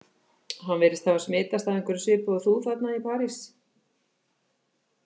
Hann virðist hafa smitast af einhverju svipuðu og þú þarna í París